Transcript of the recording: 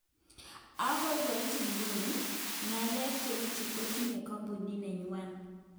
"Okoi koit iguni, ngalek cheuchu kotinye kompunit nenywan.